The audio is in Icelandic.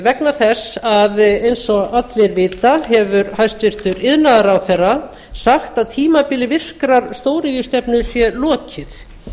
vegna þess að eins og allir vita hefur hæstvirtur iðnaðarráðherra sagt að tímabili virkrar stóriðjustefnu sé lokið